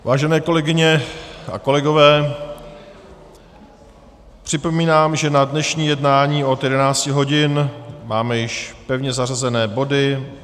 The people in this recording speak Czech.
Vážené kolegyně a kolegové, připomínám, že na dnešní jednání od 11 hodin máme již pevně zařazené body.